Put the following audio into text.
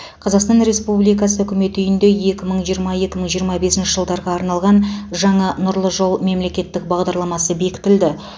қазақстан республикасы үкімет үйінде екі мың жиырма екі мың жиырма бесінші жылдарға арналған жаңа нұрлы жол мемлекеттік бағдарламасы бекітілді